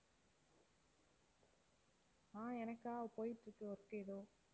ஆஹ் எனக்கா போயிட்டிருக்கு work ஏதோ